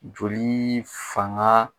Joli fanga